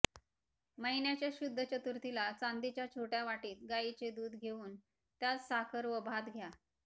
महिन्याच्या शुध्द चतुर्थीला चांदीच्या छोट्या वाटीत गायीचे दूध घेऊन त्यात साखर व भात घ्या